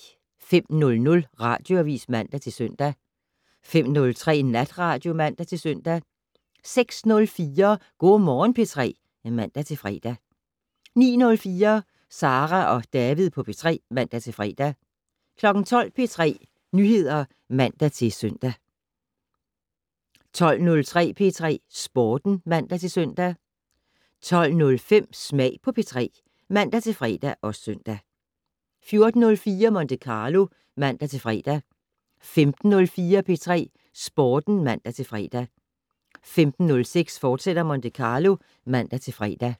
05:00: Radioavis (man-søn) 05:03: Natradio (man-søn) 06:04: Go' Morgen P3 (man-fre) 09:04: Sara og David på P3 (man-fre) 12:00: P3 Nyheder (man-søn) 12:03: P3 Sporten (man-søn) 12:05: Smag på P3 (man-fre og søn) 14:04: Monte Carlo (man-fre) 15:04: P3 Sporten (man-fre) 15:06: Monte Carlo, fortsat (man-fre)